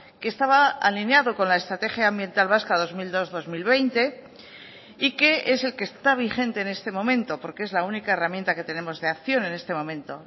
que estaba alineado con la estrategia ambiental vasca dos mil dos dos mil veinte y que es el que está vigente en este momento porque es la única herramienta que tenemos de acción en este momento